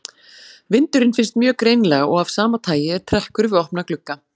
Vindurinn finnst mjög greinilega og af sama tagi er trekkur við opna glugga.